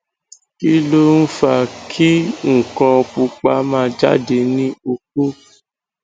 kí ló ń fa kin nkan pupa ma jade ni oko